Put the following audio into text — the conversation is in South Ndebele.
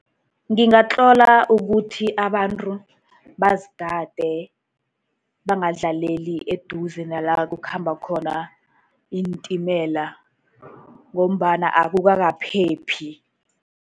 Ngingatlola ukuthi abantu bazigade, bangadlaleli eduze nala kukhamba khona iintimela, ngombana akukakaphephi.